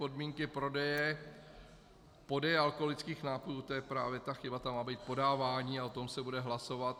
Podmínky prodeje, podeje alkoholických nápojů - to je právě ta chyba, tam má být podávání - a o tom se bude hlasovat.